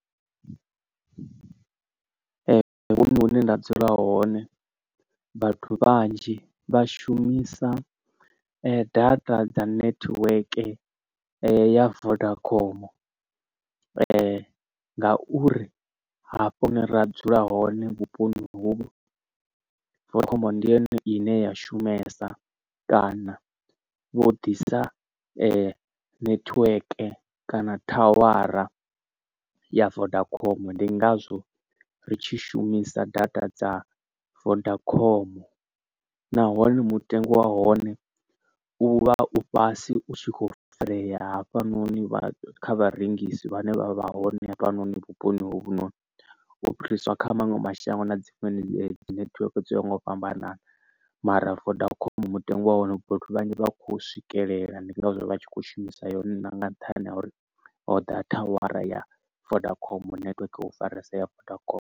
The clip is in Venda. Ee huṅwe hune nda dzula hone vhathu vhanzhi vhashumisa data dza network ya vodacom ngauri hafho hune ra dzula hone vhuponi hu vodacom ndi yone ine ya shumesa kana vho ḓisa netiweke kana thawara ya vodacom. Ndi ngazwo ri tshi shumisa data dza vodacom nahone mutengo wa hone u vha u fhasi u tshi kho farea hafhanoni vha kha vharengisi vhane vha vha hone hafhanoni vhuponi hovhunoni u fhiriswa kha maṅwe mashango na dzi fhedzi netiweke dzo ya ho nga u fhambanana. Mara vodacom mutengo wa hone vhathu vhanzhi vha kho swikelela ndi ngazwo vha tshi kho shumisa yone nga nṱhani ha uri ho ḓa thawara ya vodacom network hu faresa ya vodacom.